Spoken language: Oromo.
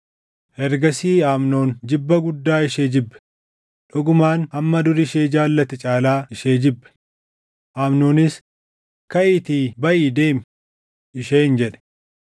Ergasii Amnoon jibba guddaa ishee jibbe; dhugumaan hamma dur ishee jaallate caalaa ishee jibbe. Amnoonis, “Kaʼiitii baʼii deemi!” isheen jedhe.